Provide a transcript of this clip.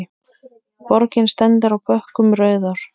Borgin stendur á bökkum Rauðár.